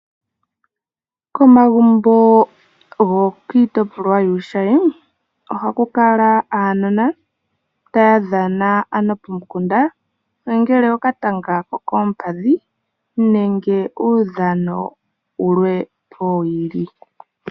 Komagumbo gokiitopolwa yuushayi ohaku kala aanona taya dhana pomukunda okatanga kokompadhi nenge uudhano wulwepo.